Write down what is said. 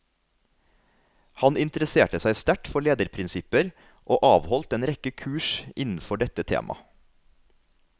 Han interesserte seg sterkt for lederprinsipper og avholdt en rekke kurs innenfor dette tema.